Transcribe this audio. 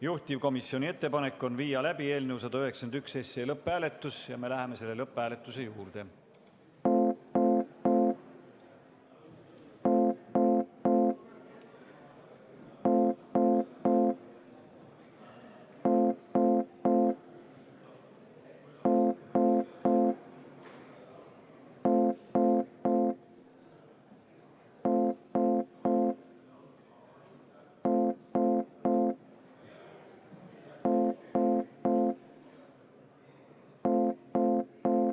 Juhtivkomisjoni ettepanek on viia läbi eelnõu 191 lõpphääletus ja me läheme selle lõpphääletuse juurde.